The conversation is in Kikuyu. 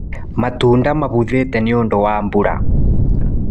Matunda mabuthĩte nĩũndũ wa mbura.